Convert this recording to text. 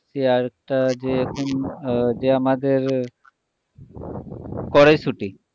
আরেকটা যে আহ যে আমাদের কড়াইশুঁটি।